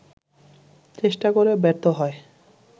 চেষ্টা করে ব্যর্থ হয়